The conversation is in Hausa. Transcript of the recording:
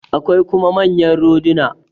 Akwai kuma manyan roduna.